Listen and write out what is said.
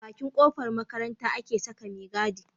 A Bakin kofar makaranta ake Saka me gadi